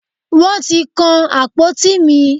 Wọ́n ti kan àpótí mi.